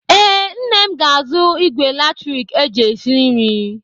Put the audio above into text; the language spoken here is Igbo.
Ee, nne m ga-azụ ìgwè latrik eji esi nri.